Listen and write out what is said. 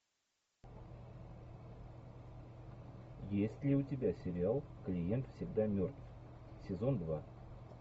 есть ли у тебя сериал клиент всегда мертв сезон два